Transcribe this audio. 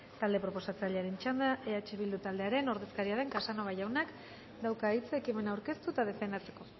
talde proposatzailearen txanda eh bildu taldearen ordezkaria den casanova jaunak dauka hitza ekimena aurkeztu eta defendatzeko